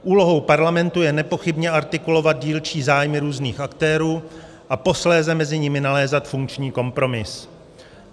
Úlohou parlamentu je nepochybně artikulovat dílčí zájmy různých aktérů a posléze mezi nimi nalézat funkční kompromis.